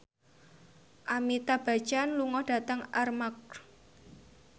Amitabh Bachchan lunga dhateng Armargh